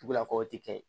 Tugu a kɔ o tɛ kɛ